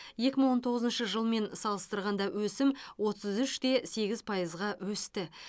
екі мың он тоғызыншы жылмен салыстырғанда өсім отыз үш те сегіз пайызға өсті